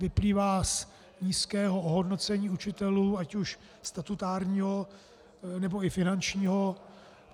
Vyplývá z nízkého ohodnocení učitelů, ať už statutárního, nebo i finančního.